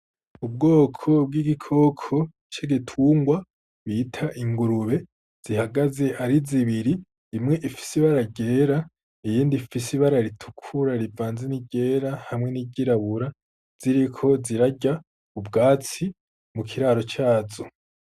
Ubwoko bw'igikoko c'igitungwa bita ingurube zihagaze ari zibiri imwe ifise ibaragera iyindi fis ibara ritukura rivanza n'igera hamwe n'igirabura ziriko zirarya ubwatsi mu kiraro cazo.